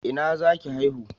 Ina zaki haihu?